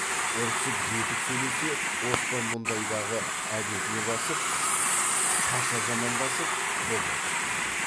ұрсып зекіп сөйлесе оспан мұндайдағы әдетіне басып қаша жамандасып колға түспей қояды